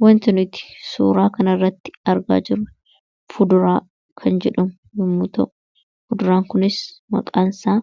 Kan asirratti argaa jirru fuduraa avukaadoo dha. Fuduraan kun faayidaa